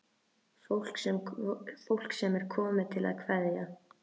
Fólk sem er komið til að kveðja.